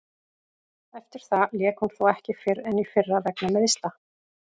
Eftir það lék hún þó ekki fyrr en í fyrra vegna meiðsla.